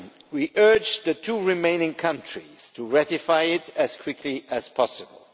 We urge the two remaining countries to ratify it as quickly as possible.